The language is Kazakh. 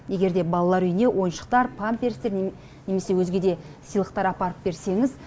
егер де балалар үйіне ойыншықтар памперстер немесе өзге де сыйлықтар апарып берсеңіз